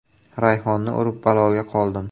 “Rayhonni urib baloga qoldim”.